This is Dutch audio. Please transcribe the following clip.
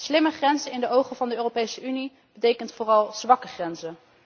Slimme grenzen in de ogen van de Europese Unie betekent vooral zwakke grenzen.